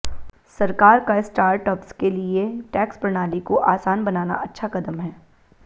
सरकार का स्टार्टअप्स के लिए टैक्स प्रणाली को आसान बनाना अच्छा कदम है